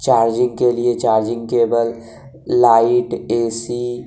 charging के लिए charging cable light AC --